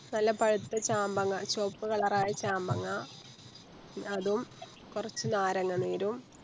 നല്ല പഴുത്ത ചാമ്പങ്ങ ചോവപ്പ് colour ആയ ചാമ്പങ്ങ അതും കൊറച്ച് നാരങ്ങാ നീരും